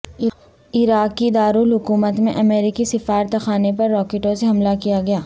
عراقی دارالحکومت میں امریکی سفارتخانے پر راکٹوں سے حملہ کیا گیا